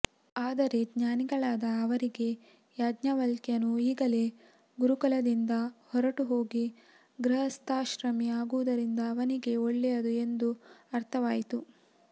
ಆದರೆ ಜ್ಞಾನಿಗಳಾದ ಅವರಿಗೆ ಯಾಜ್ಞವಲ್ಕ್ಯನು ಈಗಲೇ ಗುರುಕುಲದಿಂದ ಹೊರಟು ಹೋಗಿ ಗೃಹಸ್ಥಾಶ್ರಮಿ ಆಗುವುದರಿಂದ ಅವನಿಗೇ ಒಳ್ಳೆಯದು ಎಂದು ಅರ್ಥವಾಯಿತು